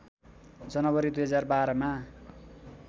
जनवरी २०१२ मा